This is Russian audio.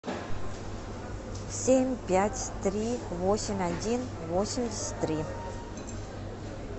семь пять три восемь один восемьдесят три